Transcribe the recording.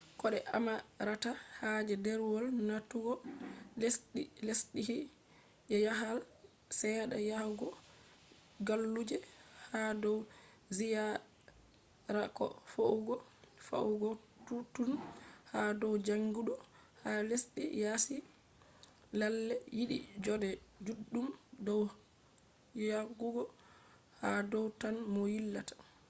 ko de amarata haje derwol natugo lesdhi je jahale sedda yahugo galluje ha dow ziyara ko fe’ugo yahugo touttoun ha dow jangidu ha lesdhi yasi lalle yidi jode juddum dow yahugo ha dow tan mo yillata